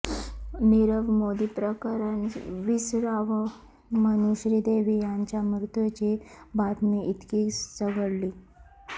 निरव मोदी प्रकरण विसरावं म्हणून श्रीदेवी यांच्या मृत्यूची बातमी इतकी चघळली